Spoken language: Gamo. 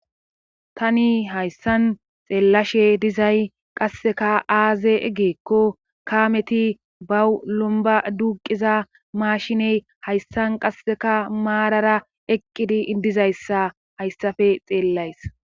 tani hayssan xeellashe dizay qasseka aaze eggeekko kaameti bawu lomba duuqiza maashiney hayssan qasseka maarara eqqidi idizayssa hayssafe xeellays